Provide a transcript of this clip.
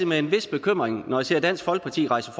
med en vis bekymring når jeg ser dansk folkeparti rejse